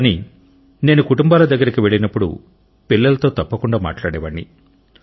కానీ నేను కుటుంబాల దగ్గరికి వెళ్ళినప్పుడు పిల్లలతో తప్పకుండ మాట్లాడేవాడిని